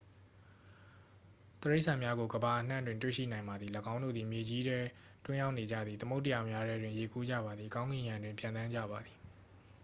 တိရစ္ဆာန်များကို ကမ္ဘာအနှံ့တွင် တွေ့ရှိနိုင်ပါသည် ၎င်းတို့သည် မြေကြီးထဲ တွင်းအောင်းနေကြသည် သမုဒ္ဒရာများထဲတွင် ရေကူးကြပါသည် ကောင်းကင်ယံတွင် ပျံသန်းကြပါသည်